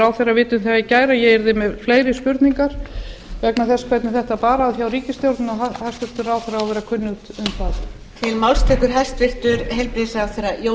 ráðherra vita um það í gær að ég yrði með fleiri spurningar vegna þess hvernig þetta bar að hjá ríkisstjórninni og hæstvirtur ráðherra á að vera kunnugt um það